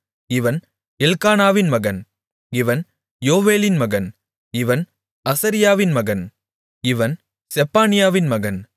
இவன் எல்க்கானாவின் மகன் இவன் யோவேலின் மகன் இவன் அசரியாவின் மகன் இவன் செப்பனியாவின் மகன்